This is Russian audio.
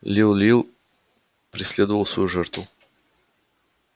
лил лил преследовал свою жертву